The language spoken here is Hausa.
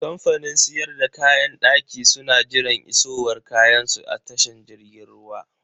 Kamfanin siyar da kayan daki su na jiran isowar kayansu a tashan jirgin ruwa.